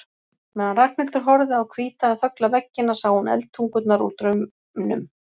meðan Ragnhildur horfði á hvíta en þögla veggina sá hún eldtungurnar úr draumnum.